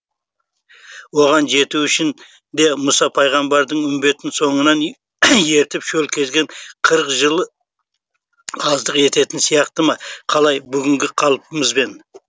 оған жету үшін де мұса пайғамбардың үмбетін соңынан ертіп шөл кезген қырық жылы аздық ететін сияқты ма қалай бүгінгі қалпымызбен